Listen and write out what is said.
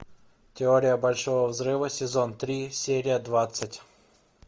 теория большого взрыва сезон три серия двадцать